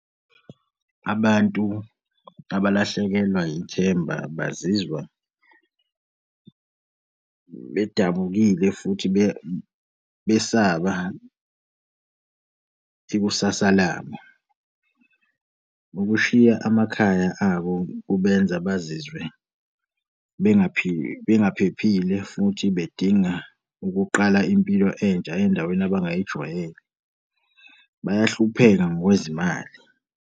Abantu abalahlekelwa yithemba bazizwa bedabukile futhi besaba ikusasa labo. Ukushiya amakhaya abo kubenza bazizwe bengaphephile futhi bedinga ukuqala impilo entsha endaweni abangayijwayele. Bayahlupheka ngokwezimali.